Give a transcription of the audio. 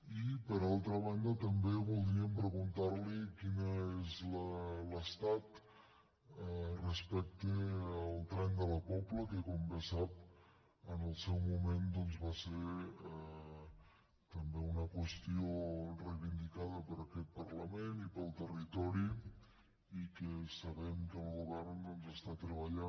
i per altra banda també voldríem preguntar li quin és l’estat respecte al tren de la pobla que com bé sap en el seu moment va ser també una qüestió reivindicada per aquest parlament i pel territori i que sabem que el govern doncs hi està treballant